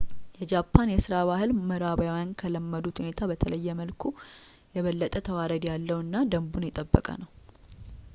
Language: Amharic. የጃፓን የሥራ ባህል ምዕራባውያን ከለመዱት ሁኔታ በተለየ መልኩ የበለጠ ተዋረድ ያለው እና ደንቡን የጠበቀ ነው